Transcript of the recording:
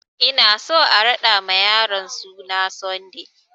Ina so a raɗa ma yaron suna Sunday!